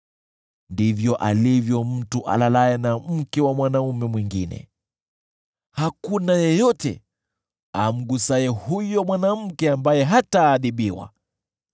Ndivyo alivyo mtu alalaye na mke wa mwanaume mwingine; hakuna yeyote amgusaye huyo mwanamke ambaye hataadhibiwa.